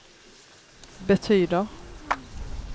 betyder